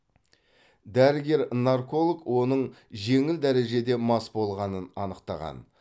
дәрігер нарколог оның жеңіл дәрежеде мас болғанын анықтаған